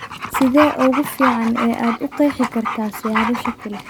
Sidee ugu fiican ee aad u qeexi kartaa siyaabo shaki leh?